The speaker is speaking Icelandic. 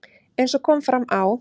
Eins og kom fram á